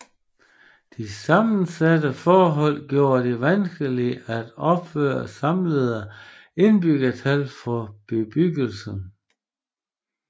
De sammensatte forhold gjorde det vanskeligt at opgøre samlede indbyggertal for bebyggelsen